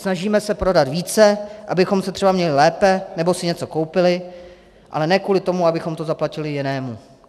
Snažíme se prodat více, abychom se třeba měli lépe nebo si něco koupili, ale ne kvůli tomu, abychom to zaplatili jinému.